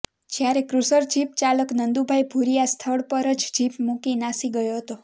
જયારે cruiser jeep ચાલક નંદુભાઇ ભૂરીયા સ્થળ પર જ જીપ મુકી નાસી ગયો હતો